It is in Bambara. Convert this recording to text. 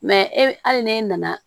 e hali n'e nana